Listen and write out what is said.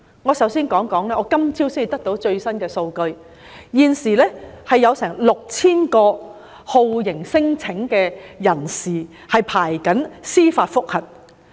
我首先想指出，今早得到的最新數據顯示，現時全港有大約 6,000 名酷刑聲請人正在等候司法覆核。